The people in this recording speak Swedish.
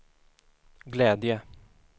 glädje